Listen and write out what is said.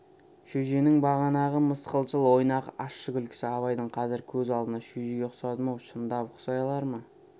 шөженің бағанағы мысқылшыл ойнақы ащы күлкісі абайдың қазір көз алдында шөжеге ұқсадым-ау шындап ұқсай алар ма